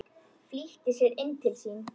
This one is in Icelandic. Flýtti sér inn til sín.